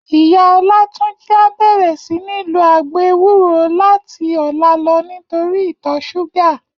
Iyá Olatunji á bèrè sini ló àgbó éwúró làti òlá lò nitóri itò ṣúgà